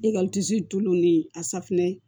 E ka tulon ni a safunɛ